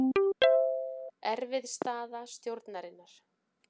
Erfið staða stjórnarinnar